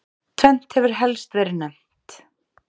Tvennt hefur helst verið nefnt.